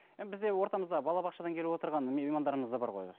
бізде ортамызда балабақшадан келіп отырған меймандарымыз да бар ғой